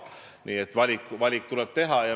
Nii et valik tuleb teha.